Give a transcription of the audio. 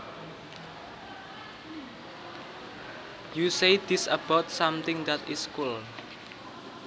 You say this about something that is cool